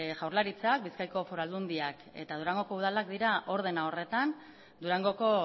jaurlaritzak bizkaiko foru aldundiak eta durangoko udalak dira ordena horretan durangoko